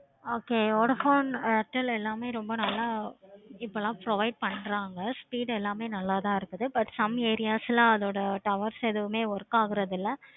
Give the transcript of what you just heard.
okay vodafone எல்லாமே ரொம்ப நல்ல இப்போலாம் provide பண்றாங்க. speed எல்லாமே நல்ல தான் இருக்குது. some areas ல லாம் அதோட towers எல்லாமே work ஆகுறது இல்ல.